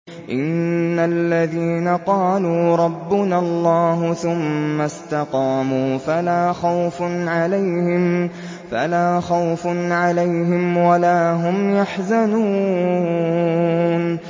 إِنَّ الَّذِينَ قَالُوا رَبُّنَا اللَّهُ ثُمَّ اسْتَقَامُوا فَلَا خَوْفٌ عَلَيْهِمْ وَلَا هُمْ يَحْزَنُونَ